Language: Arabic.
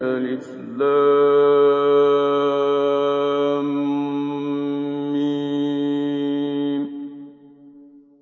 الم